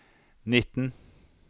nitten